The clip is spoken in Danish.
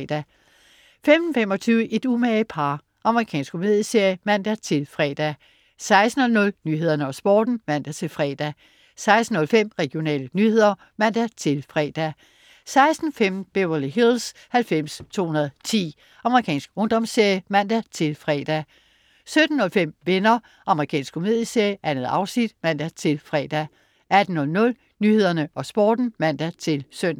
15.25 Et umage par. Amerikansk komedieserie (man-fre) 16.00 Nyhederne og Sporten (man-fre) 16.05 Regionale nyheder (man-fre) 16.15 Beverly Hills 90210. Amerikansk ungdomsserie (man-fre) 17.05 Venner. Amerikansk komedieserie. 2 afsnit (man-fre) 18.00 Nyhederne og Sporten (man-søn)